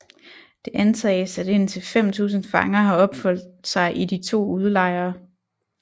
Det antages at indtil 5000 fanger har opholdt sig i de to udelejre